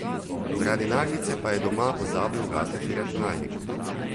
Zaradi naglice pa je doma pozabil ugasniti računalnik.